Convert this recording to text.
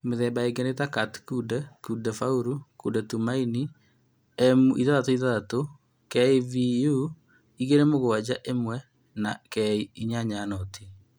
Mĩthemba ĩngi ni ta Kat-Kunde, Kunde Faulu, Kunde Tumaini, M66, KVU 27-1, na K80